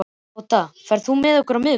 Tóta, ferð þú með okkur á miðvikudaginn?